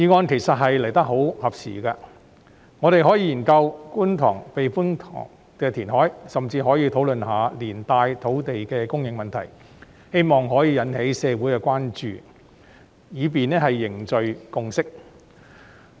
其實這項議案來得很合時，我們可以研究觀塘避風塘填海計劃，甚至可以討論一下連帶的土地供應問題，以期引起社會關注，凝聚共識。